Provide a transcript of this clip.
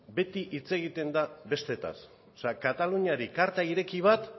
beti hitz egiten da besteetaz kataluniari karta ireki bat